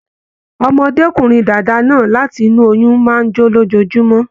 Ọmọkùnrin dàda náà láti inú oyún máa n jo lójoojúmọ́.